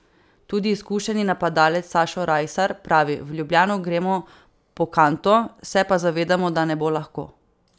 Tudi izkušeni napadalec Sašo Rajsar pravi: 'V Ljubljano gremo po kanto, se pa zavedamo, da ne bo lahko.